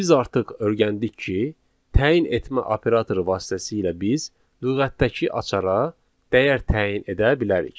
Biz artıq öyrəndik ki, təyin etmə operatoru vasitəsilə biz lüğətdəki açara dəyər təyin edə bilərik.